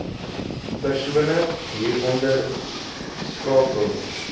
persone hieronder skakel